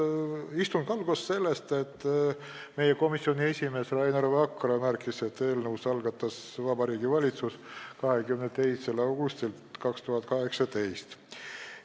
Istung algas sellega, et meie komisjoni esimees Rainer Vakra märkis, et eelnõu algatas Vabariigi Valitsus 22. augustil 2018.